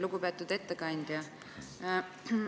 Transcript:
Lugupeetud ettekandja!